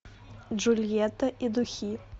джульетта и духи